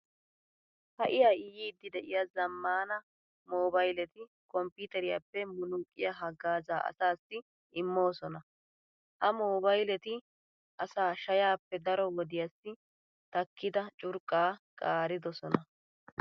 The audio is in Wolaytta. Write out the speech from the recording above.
Ha"i ha"i yiiddi de'iya zammaana moobayleti komppiiteriyappe munnuuqqiya haggaazaa asaassi immoosona. Ha moobayleti asaa shayaappe daro wodiyassi takkida curqqaa qaaridosona.